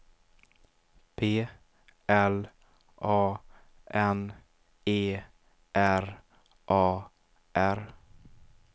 P L A N E R A R